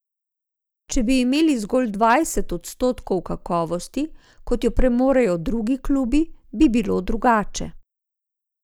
Če bi imeli zgolj dvajset odstotkov kakovosti, kot jo premorejo drugi klubi, bi bilo drugače.